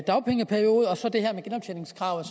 dagpengeperiode og som det seneste om genoptjeningskravet